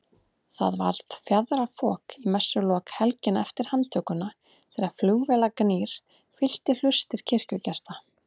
Það varð fjaðrafok í messulok helgina eftir handtökuna þegar flugvélagnýr fyllti hlustir kirkjugesta.